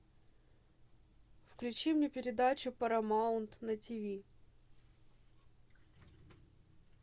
включи мне передачу парамаунт на тиви